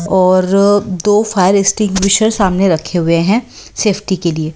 और दो fire extinguisher सामने रखे हुए हैं सेफ्टी के लिए--